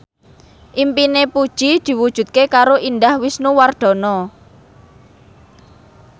impine Puji diwujudke karo Indah Wisnuwardana